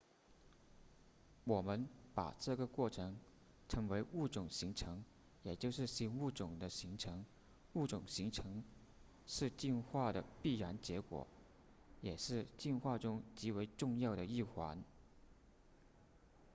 我们把这个过程称为物种形成也就是新物种的形成物种形成是进化的必然结果也是进化中极为重要的一环